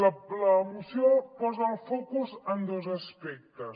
la moció posa el focus en dos aspectes